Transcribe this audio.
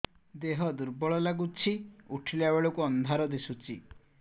ଦେହ ଦୁର୍ବଳ ଲାଗୁଛି ଉଠିଲା ବେଳକୁ ଅନ୍ଧାର ଦିଶୁଚି